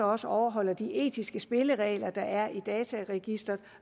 også overholder de etiske spilleregler der er i dataregisteret